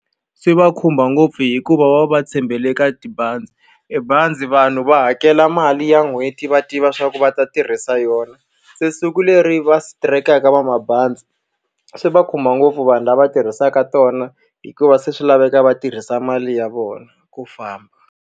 Swi va khumba ngopfu hikuva va va tshembele ka tibazi. E bazi vanhu va hakela mali ya n'hweti va tiva leswaku va ta tirhisa yona, se siku leri va strike-kaka vamabanzi swi va khumba ngopfu vanhu lava tirhisaka tona. Hikuva se swi laveka va tirhisa mali ya vona ku famba.